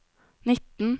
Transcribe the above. nitten